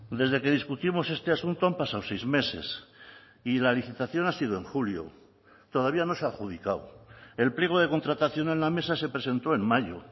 desde que discutimos este asunto han pasado seis meses y la licitación ha sido en julio todavía no se ha adjudicado el pliego de contratación en la mesa se presentó en mayo